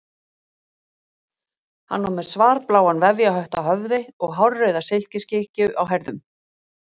Hann var með svarbláan vefjarhött á höfði og hárauða silkiskikkju á herðunum.